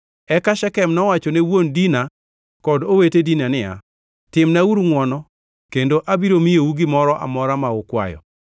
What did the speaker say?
Eka Shekem nowacho ne wuon Dina kod owete Dina niya, “timnauru ngʼwono kendo abiro miyou gimoro amora ma ukwayo.”